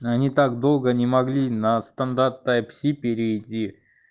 они так долго не могли на стандарт тайп си перейти